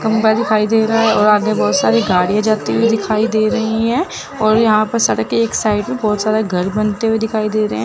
खम्भा दिखाई दे रहा है और आगे बहोत सारी गाड़ीयां जाते हुई दिखाई दे रही है और यहां पे सड़क के एक साइड बहोत सारा घर बनते हुए दिखाई दे रहे--